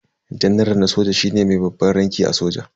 Janaral na soja shine mai babban ranki a soja.